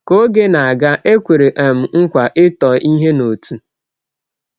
Ka oge na-aga, e kwere um nkwa ịtọ ihe n’otu.